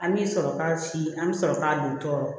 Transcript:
An bi sɔrɔ ka si an mi sɔrɔ k'a don tɔɔrɔ